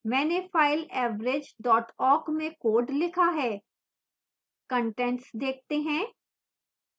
मैंने file average awk में code लिखा है कंटेंट्स देखते हैं